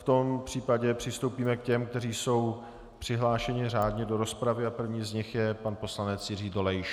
V tom případě přistoupíme k těm, kteří jsou přihlášeni řádně do rozpravy, a prvním z nich je pan poslanec Jiří Dolejš.